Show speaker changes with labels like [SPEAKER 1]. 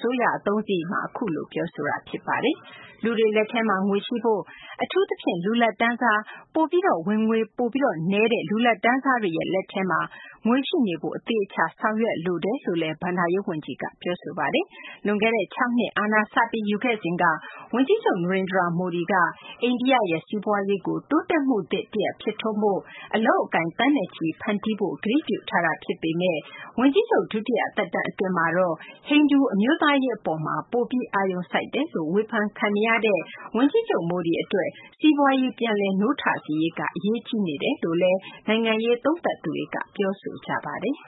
[SPEAKER 1] စိုးရ အသုံးစရိတ်ကို စနေနေ့က လွှတ်တော်ကိုတင်တာမှာ အဲဒီလိုပြောသွားတာပါ။ လူတွေလက်ထဲမှာ ငွေရှိဖို့၊ အထူးသဖြင့် လူလတ်တန်းစား၊ ပိုပြီး ဝင်ငွေနည်းတဲ့ လူလတ်တန်းစားတွေရဲ့ လက်ထဲမှာ ငွေရှိနေဖို့ အသေအချာ ဆောင်ရွက်လိုတယ်လို့လည်း ဘဏ္ဍာရေးဝန်ကြီးက ပြောဆိုခဲ့ပါတယ်။ လွန်ခဲ့တဲ့ ၆ နှစ် အာဏာစပြီး ယူခဲ့စဉ်က ဝန်ကြီးချုပ် Narendra Modi က အိန္ဒိယရဲ့ စီးပွားရေးကို တိုးတက်မှုသစ်တရပ် ဖြစ်ထွန်းဖို့နဲ့ အလုပ်အကိုင် သန်းနဲ့ချီ ဖန်တီးပေးဖို့ ကတိပြုထားတာ ဖြစ်ပေမယ့် ဝန်ကြီးချုပ် ဒုတိယသက်တမ်း အတွင်းမှာတော့ ဟိန္ဒူ အမျိုးသားရေးအပေါ်မှာ ပိုပြီး အာရုံစိုက်နေတယ်လို့ ဝေဖန်ခံနေရတဲ့အတွက် စီးပွားရေးကို ပြန်လည်နိုးထစေရေးက အရေးကြီးနေတယ်လို့လည်း နိုင်ငံရေးသုံးသပ်သူတွေက ပြောကြပါတယ်